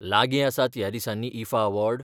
लागीं आसात ह्या दिसांनी ईफा अवॉर्ड?